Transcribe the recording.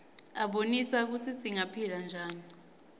abonisa kutsi singaphila njani